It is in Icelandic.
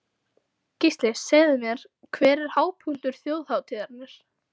Gísli: Segðu mér, hver er hápunktur þjóðhátíðarinnar?